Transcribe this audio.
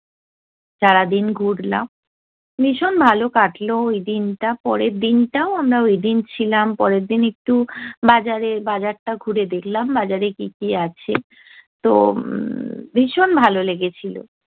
সারাদিন ঘুরলাম। ভীষণ ভালো কাটলো ওইদিনটা, পরের দিনটাও। আমরা ওইদিন ছিলাম পরেরদিন একটু বাজারে বাজারটা ঘুরে দেখলাম, বাজারে কী কী আছে তো ভীষণ ভালো লেগেছিলো।